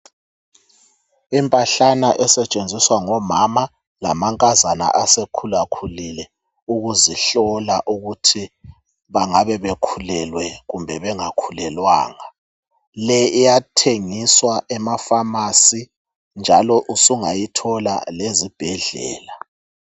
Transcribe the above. Impahlana esetshenziswa ngomama lamankazana asekhula khulile ukuzihlola ukuthi bengabe ekhulelwe kumbe bengakhulelwanga le iyatshengiswa emafamasi njalo usungayithola lezibhedlela.